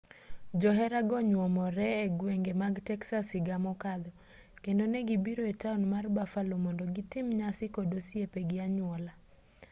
joherago nyuomore egwenge mag texas higa mokadho kendo negibiro etaon mar buffalo mond gitim nyasi kod osiepe gi anyuola